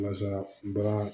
Walasa baara